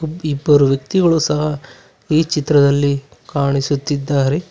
ಇಬ್ಬರು ವ್ಯಕ್ತಿಗಳು ಸಹ ಈ ಚಿತ್ರದಲ್ಲಿ ಕಾಣಿಸುತ್ತಿದ್ದಾರೆ.